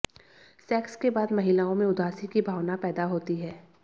sex के बाद महिलाओं में उदासी की भावना पैदा होती है